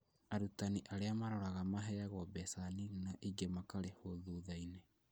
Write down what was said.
Arutani arĩa mararora maheagwo mbeca nini na ingĩ makarĩhwo thutha-inĩ